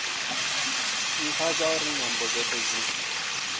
ntha zwauri nyambo dzothe dzi